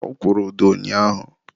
ọ kwụrụ ụdọ ụnyaahụ.